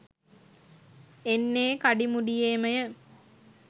එන්නේ කඩිමුඩියේමය.